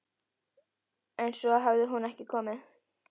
En svo hafði hún ekki komið.